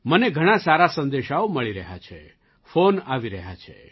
મને ઘણા સારા સંદેશાઓ મળી રહ્યા છે ફૉન આવી રહ્યા છે